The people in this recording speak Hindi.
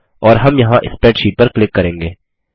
और हम यहाँ स्प्रेडशीट पर क्लिक करेंगे